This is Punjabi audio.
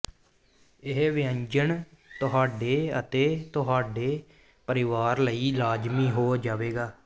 ਇਹ ਵਿਅੰਜਨ ਤੁਹਾਡੇ ਅਤੇ ਤੁਹਾਡੇ ਪਰਿਵਾਰ ਲਈ ਲਾਜ਼ਮੀ ਹੋ ਜਾਵੇਗਾ